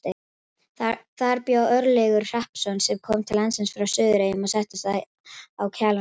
Þar bjó Örlygur Hrappsson sem kom til landsins frá Suðureyjum og settist að á Kjalarnesi.